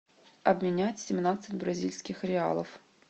обменять семнадцать бразильских реалов